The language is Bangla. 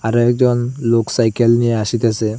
আরো একজন লোক সাইকেল নিয়ে আসিতেছে।